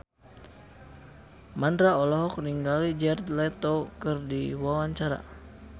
Mandra olohok ningali Jared Leto keur diwawancara